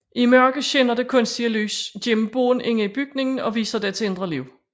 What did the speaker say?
I mørke skinner det kunstige lys gennem bånd inde i bygningen og viser dets indre liv